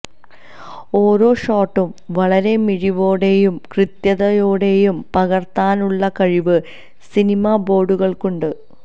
ഓരോ ഷോട്ടും വളരെ മിഴിവോടെയും കൃത്യതയോടെയും പകർത്താനുള്ള കഴിവ് സിനിബോട്ടുകൾക്കുണ്ട്